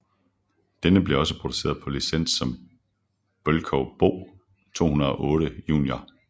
Denne blev også produceret på licens som Bölkow Bo 208 Junior